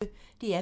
DR P1